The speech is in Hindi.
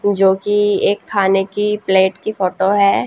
जोकि एक खाने की प्लेट की फोटो है।